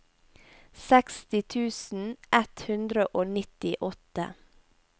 seksti tusen ett hundre og nittiåtte